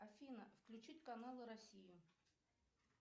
афина включить канал россию